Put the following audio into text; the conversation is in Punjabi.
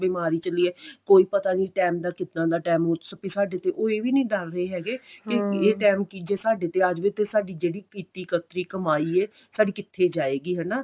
ਬੀਮਾਰੀ ਚੱਲੀ ਏ ਕੋਈ ਪਤਾ ਨਹੀਂ ਟੇਮ ਦਾ ਕਿਦਾਂ ਦਾ ਟੇਮ ਸਕੇ ਸਾਡੇ ਤੇ ਉਹ ਇਹ ਵੀ ਨਹੀਂ ਡਰ ਰਹੇ ਹੈਗੇ ਕੀ ਇਹ